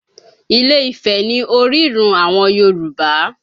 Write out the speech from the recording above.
Ilé-Ifẹ̀ ni orírun àwọn Yorùbá